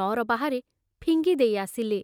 ନଅର ବାହାରେ ଫିଙ୍ଗି ଦେଇ ଆସିଲେ।